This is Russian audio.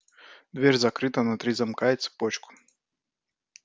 дверь закрыта на три замка и цепочку